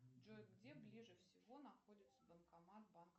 джой где ближе всего находится банкомат банка